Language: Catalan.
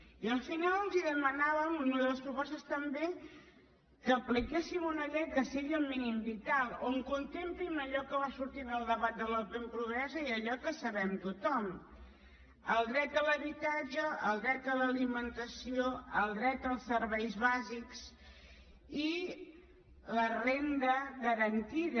i al final els demanàvem en una de les propostes també que apliquéssim una llei que sigui el mínim vital on contemplin allò que va sortir en el debat de la pobresa i allò que sabem tothom el dret a l’habitatge el dret a l’alimentació el dret als serveis bàsics i la renda garantida